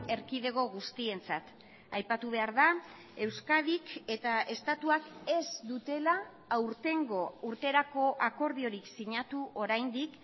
erkidego guztientzat aipatu behar da euskadik eta estatuak ez dutela aurtengo urterako akordiorik sinatu oraindik